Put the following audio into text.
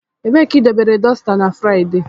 Ebee ka idobere dosita na Fraịde?